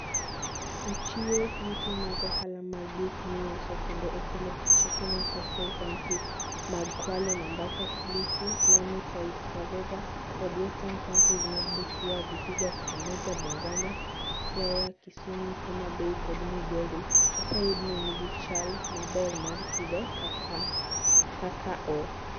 Ochiwo yuto mag ohala mag gik miuso, kendo okelo tich. E Kenya, Coastal Counties mag Kwale, Mombasa, Kilifi, Lamu, Taita Taveta kod Western counties mag Busia, Vihiga, Kakamega, Bungoma Siaya, Kisumu, Homa Bay, kod Migori oseyud ni nigi chal maber mar pidho kakao.